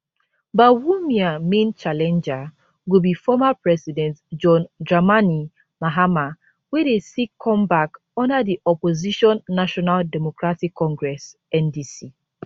bawumia main challenger go be former president john dramani mahama wey dey seek comeback under di opposition national democratic congress ndc